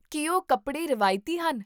ਕੀ ਉਹ ਕੱਪੜੇ ਰਵਾਇਤੀ ਹਨ?